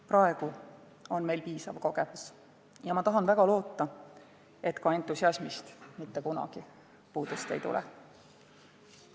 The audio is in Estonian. Praegu on meil piisav kogemus ja ma tahan väga loota, et ka entusiasmist mitte kunagi puudust ei tule.